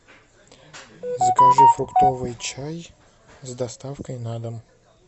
закажи фруктовый чай с доставкой на дом